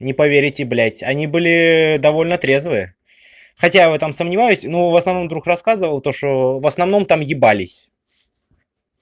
не поверите блядь они были довольно трезвые хотя в этом сомневаюсь но в основном друг рассказывал то что в основном там ебались